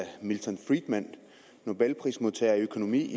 milton friedman nobelprismodtager i økonomi